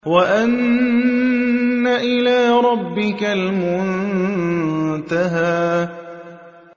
وَأَنَّ إِلَىٰ رَبِّكَ الْمُنتَهَىٰ